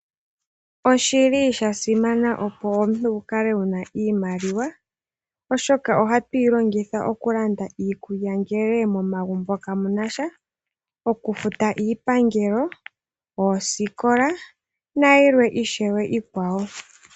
Oshili sha simana opo omuntu wukale wuna iimaliwa. Oshoka ohatu yi longitha okulanda iikulya ngele momagumbo kamunasha. Oku futa iipangelo, oosikola nayilwe ishewe iikwawo.